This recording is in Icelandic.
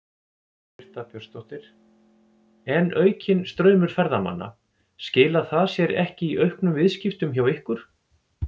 Birta Björnsdóttir: En aukinn straumur ferðamanna, skilar það sér ekki í auknum viðskiptum hjá ykkur?